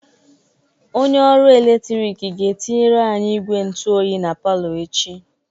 Onye ọrụ eletrik ga-etinyere anyị igwe ntụ oyi na palọ echi